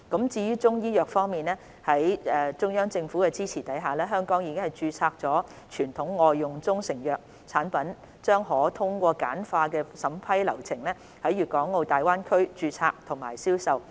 至於中醫藥方面，在中央政府的支持下，香港已註冊的傳統外用中成藥產品將可通過簡化的審批流程在粵港澳大灣區註冊及銷售。